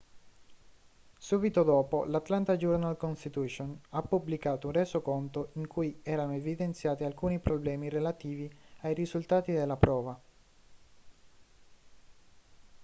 subito dopo l'atlanta journal-constitution ha pubblicato un resoconto in cui erano evidenziati alcuni problemi relativi ai risultati della prova